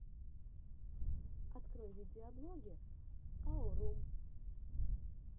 открой видеоблоги аурум